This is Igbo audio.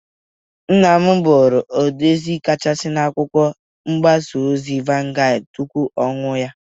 Nna m bụrụ odezi kachasị na akwụkwọ mgbasa ozi Vangad tupu ọnwụ ya.